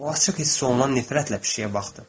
O açıq hiss olunan nifrətlə pişiyə baxdı.